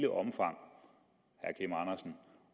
omfang